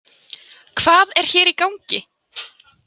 Hvað er hér í gangi?